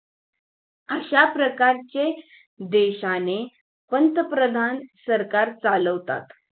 अशा प्रकारचे देशाने पंतप्रधान सरकार चालवतात